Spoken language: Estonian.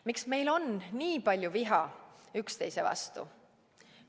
Miks meil on nii palju viha üksteise vastu?